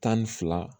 Tan ni fila